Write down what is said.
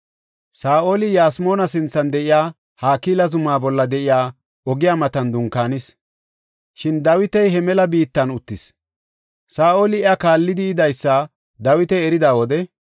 Saa7oli Yasmoona sinthan de7iya Hakila zumaa bolla de7iya ogiya matan dunkaanis; shin Dawiti he mela biittan uttis. Saa7oli iya kaallidi yidaysa Dawiti erida wode,